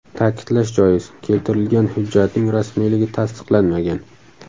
Ta’kidlash joiz, keltirilgan hujjatning rasmiyligi tasdiqlanmagan.